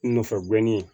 Nɔfɛ gɛnni